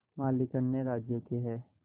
मालिक अन्य राज्यों के हैं